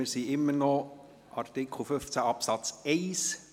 Wir sind immer noch bei Artikel 15 Absatz 1.